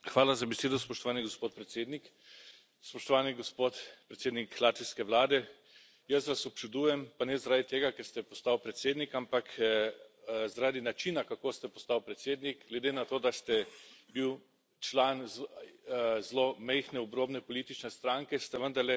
Gospod predsednik, spoštovani gospod predsednik latvijske vlade, jaz vas občudujem, pa ne zaradi tega, ker ste postal predsednik, ampak zaradi načina, kako ste postal predsednik glede na to, da ste bil član zelo majhne, obrobne politične stranke, ste vendarle zbral